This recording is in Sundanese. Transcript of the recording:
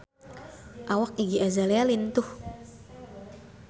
Awak Iggy Azalea lintuh